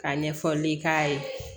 Ka ɲɛfɔli k'a ye